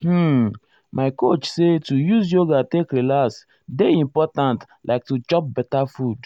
hmm my coach say to use yoga take relax dey important like to chop beta food.